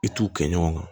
I t'u kɛ ɲɔgɔn kan